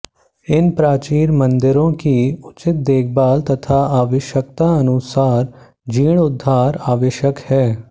इन प्राचीन मंदिरों की उचित देखभाल तथा आवश्यकतानुसार जीर्णोद्धार आवश्यक है